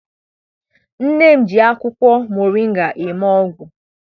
Nne m ji akwụkwọ moringa eme ọgwụ.